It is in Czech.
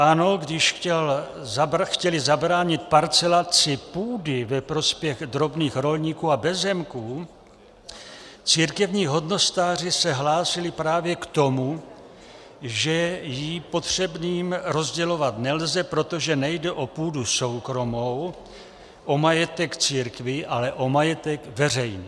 Ano, když chtěli zabránit parcelaci půdy ve prospěch drobných rolníků a bezzemků, církevní hodnostáři se hlásili právě k tomu, že ji potřebným rozdělovat nelze, protože nejde o půdu soukromou, o majetek církví, ale o majetek veřejný.